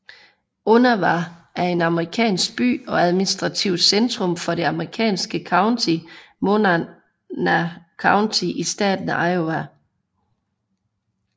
Onawa er en amerikansk by og administrativt centrum for det amerikanske county Monona County i staten Iowa